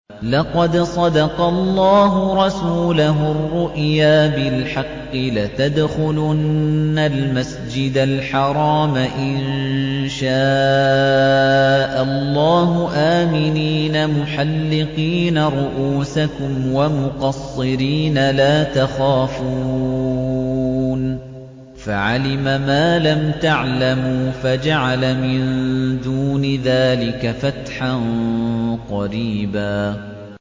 لَّقَدْ صَدَقَ اللَّهُ رَسُولَهُ الرُّؤْيَا بِالْحَقِّ ۖ لَتَدْخُلُنَّ الْمَسْجِدَ الْحَرَامَ إِن شَاءَ اللَّهُ آمِنِينَ مُحَلِّقِينَ رُءُوسَكُمْ وَمُقَصِّرِينَ لَا تَخَافُونَ ۖ فَعَلِمَ مَا لَمْ تَعْلَمُوا فَجَعَلَ مِن دُونِ ذَٰلِكَ فَتْحًا قَرِيبًا